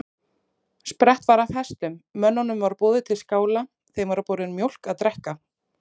Sprett var af hestum, mönnunum var boðið til skála, þeim var borin mjólk að drekka.